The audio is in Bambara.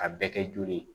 A bɛɛ kɛ joli ye